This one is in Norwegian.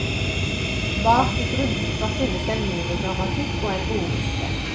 Bak i grunnboka finnes en minigrammatikk og en ordliste.